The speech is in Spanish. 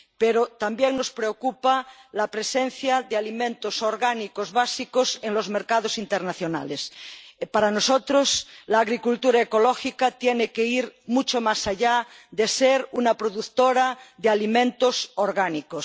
Pero también nos preocupa la presencia de alimentos orgánicos básicos en los mercados internacionales. Para nosotros, la agricultura ecológica tiene que ir mucho más allá de la producción de alimentos orgánicos